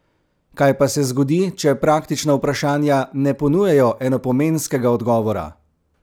Kaj pa se zgodi, če praktična vprašanja ne ponujajo enopomenskega odgovora?